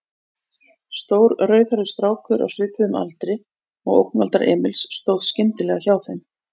Stór, rauðhærður strákur á svipuðum aldri og ógnvaldar Emils stóð skyndilega hjá þeim.